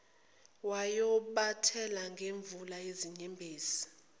wayobathela ngemvula yezinyembezi